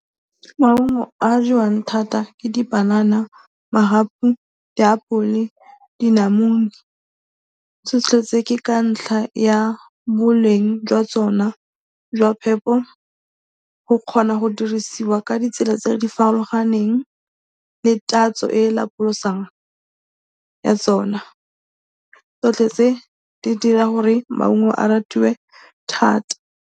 Maungo a a jewang thata ke dipanana, magapu, diapole le dinamune. Tsotlhe tse ke ka ntlha ya boleng jwa tsona jwa phepo, go kgona go dirisiwa ka ditsela tse di farologaneng le tatso e e lapolosang ya tsona. Tsotlhe tse di dira gore maungo a ratiwe thata.